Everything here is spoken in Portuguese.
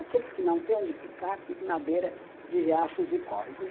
Aqueles que não têm onde ficar, ficam na beira de riachos e córregos.